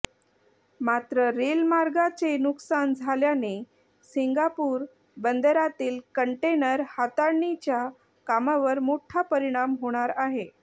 मात्र रेल मार्गाचे नुकसान झाल्याने सिंगापूर बंदरातील कंटेनर हाताळणीच्या कामावर मोठा परिणाम होणार आहे